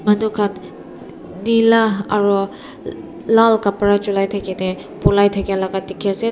manu khan nila aru lal kapara chulai thaki ne polai thakia la dikhi ase ta.